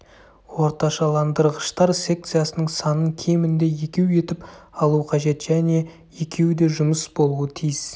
орташаландырғыштар секциясының санын кемінде екеу етіп алу қажет және екеуі де жұмыс болуы тиіс